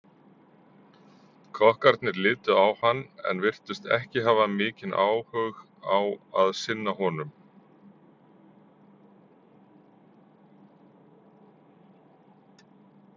Kokkarnir litu á hann en virtust ekki hafa mikinn áhug á að sinna honum.